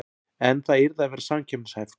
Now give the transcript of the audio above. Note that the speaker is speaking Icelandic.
En það yrði að vera samkeppnishæft